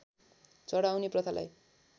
चढाउने प्रथालाई